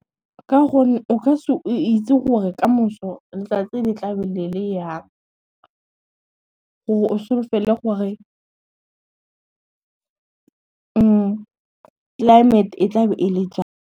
Ka gore o ka se itse gore kamoso letsatsi le tla be le le jang gore o solofele gore, climate e tla be e le jang.